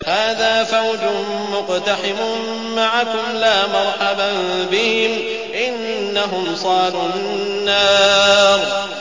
هَٰذَا فَوْجٌ مُّقْتَحِمٌ مَّعَكُمْ ۖ لَا مَرْحَبًا بِهِمْ ۚ إِنَّهُمْ صَالُو النَّارِ